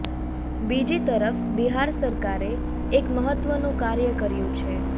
બીજી તરફ બિહાર સરકારે એક મહત્વનું કાર્ય કર્યું છે